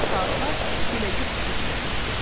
Saatlar beləcə sükutla keçdi.